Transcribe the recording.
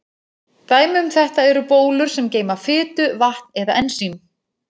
Dæmi um þetta eru bólur sem geyma fitu, vatn eða ensím.